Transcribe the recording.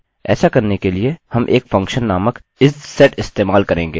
ऐसा करने के लिए हम एक फंक्शनfuction नामक isset इस्तेमाल करेंगे